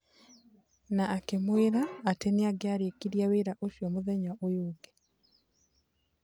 Na akĩmwĩra atĩ nĩangia rĩkirie wĩra ũcio mũthenya ũyu ũngĩ.